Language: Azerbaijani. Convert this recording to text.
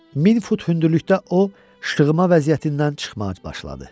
1000 fut hündürlükdə o, şığıma vəziyyətindən çıxmağa başladı.